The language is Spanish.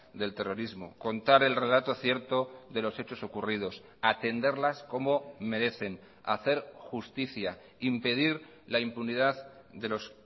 del terrorismo contar el relato cierto de los hechos ocurridos atenderlas como merecen hacer justicia impedir la impunidad de los